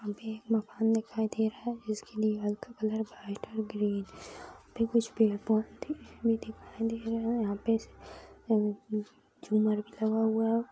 वहाँ पे एक मकान दिखाई दे रहा है जिसकी दीवार का कलर व्हाइट और ग्रीन यहाँ पे कुछ पेड़-पौधे भी दिखाई दे रहे है यहाँ पे झुमर भी लगा हुआ है।